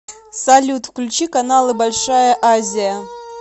салют включи каналы большая азия